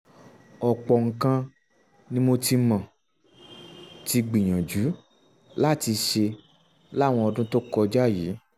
ọ̀pọ̀ nǹkan ni mo ti um mo ti um gbìyànjú láti ṣe láwọn ọdún tó kọjá yìí